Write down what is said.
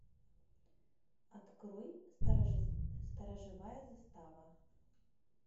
открой сторожевая застава